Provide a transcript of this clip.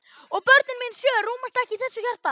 Og börnin mín sjö rúmast ekki í þessu hjarta.